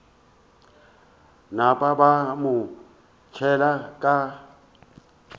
napa ba mo tšhela ka